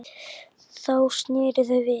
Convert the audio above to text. Þá sneru þau við.